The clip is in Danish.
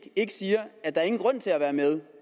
ikke siger at der er ingen grund til at være med